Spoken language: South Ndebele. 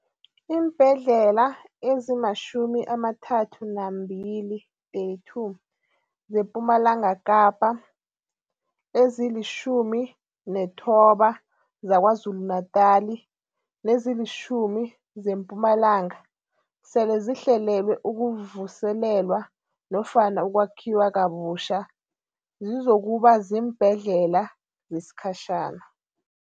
Iimbhedlela ezima-32 zePumalanga Kapa, ezili-19 zaKwaZulu-Natala nezilitjhumi zeMpumalanga sele zihlelelwe ukuvuselelwa nofana ukwakhiwa kabutjha zizokuba ziimbhedlela zesikhatjhana.